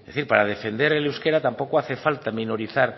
es decir para defender el euskera tampoco hace falta minorizar